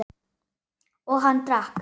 Og hann drakk.